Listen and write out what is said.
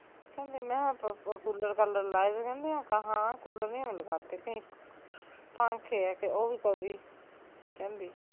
ਕਹਿੰਦੀ ਮੈਂ ਕਿਹਾਂ ਕੂਲਰ ਕਾਲਰ ਲਾਏ ਵੇ ਕਹਿੰਦੀ ਨਾ ਕੂਲਰ ਨੀ ਹਮ ਲਗਾਤੇ ਕਹਿੰਦੀ ਪਾਖੇ ਹੈਂ ਓਹ ਵੀ ਕਬੀ ਕਹਿੰਦੀ